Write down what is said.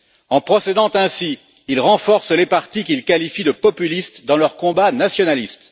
En procédant ainsi, il renforce les partis qu'il qualifie de populistes dans leur combat nationaliste.